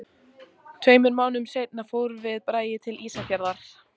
Tveimur mánuðum seinna fórum við Bragi til Ísafjarðar.